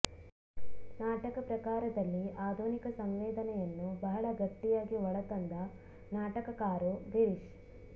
ನಾಟಕ ಪ್ರಕಾರದಲ್ಲಿ ಆಧುನಿಕ ಸಂವೇದನೆಯನ್ನು ಬಹಳ ಗಟ್ಟಿಯಾಗಿ ಒಳತಂದ ನಾಟಕಕಾರು ಗಿರೀಶ್